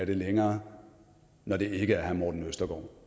længere når det ikke er herre morten østergaard